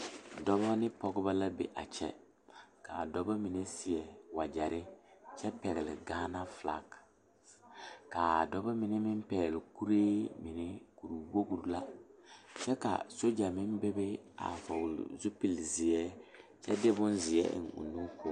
Noba la laŋ lammo yaga lɛ ba mine zeŋ la dakoo zu naŋ ba poɔrɔ ba mine are la ba nimitɔɔreŋ dɔba la are a nimitɔɔre ba ba su kparɛɛ ba de la pɛmɛ le ba zuri ba seɛ la wagyɛre ba seereŋ ba biŋ la gaŋga kpoŋ kaŋ ba nimitɔɔreŋ ba mine meŋ zeŋ la dakoo zu a pɛgele gaŋga dabilii ka gaŋga bilii meŋ biŋ ba nimitɔɔreŋ